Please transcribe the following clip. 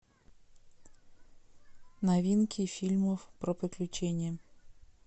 новинки фильмов про приключения